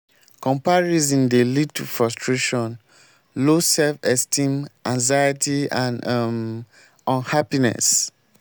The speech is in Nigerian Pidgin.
comparison dey lead to frustration low self-esteem anxiety and and um unhappiness.